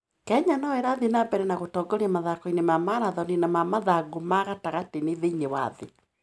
Kenya no ĩrathiĩ na mbere na gũtongoria mathako-inĩ ma maratoni na ma mathangũ ma gatagatĩ thĩinĩ wa thĩ.